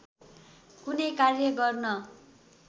कुनै कार्य गर्न